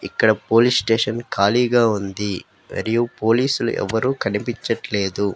ఇక్కడ police station ఖాళీగా ఉంది మరియు పోలీసులు ఎవరూ కనిపించట్లేదు.